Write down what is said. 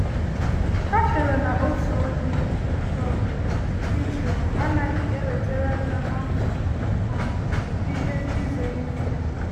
Ha chere na otu onye um Israel anaghị ewetara nna ha um ihe ize ndụ?